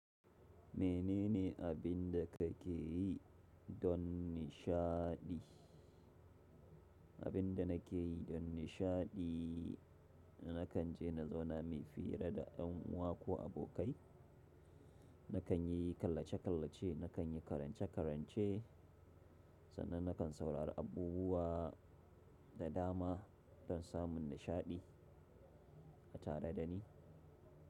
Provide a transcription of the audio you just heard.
Menene abinda kake yi don nishaɗi? Abinda nake yi don nishaɗi nakan je na zauna mai fiye da da yan uwa ko abokai. Nakan yi kallace-kallace, na kan yi karance-karance sannan na kan saurari abubuwa da dama, don samun nishaɗi a tare da ni.